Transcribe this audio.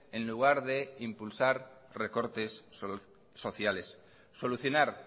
en lugar de impulsar recortes sociales solucionar